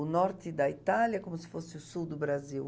O norte da Itália é como se fosse o sul do Brasil.